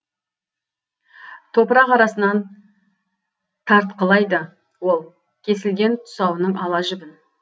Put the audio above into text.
топырақ арасынан тартқылайды ол кесілген тұсауының ала жібін